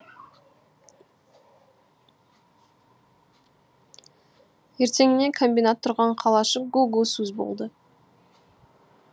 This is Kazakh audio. ертеңіне комбинат тұрған қалашық гу гу сөз болды